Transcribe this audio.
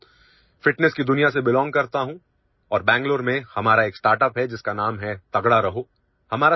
मैं खुद ଫିଟନେସ୍ की दुनिया से belongकरता हूं और बेंगलुरु में हमारा एक ଷ୍ଟାର୍ଟଅପ୍ है जिसका नाम हैतगड़ा रहो